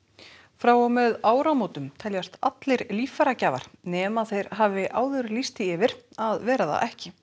frá og með áramótum teljast allir líffæragjafar nema þeir hafi áður lýst því yfir að vera það ekki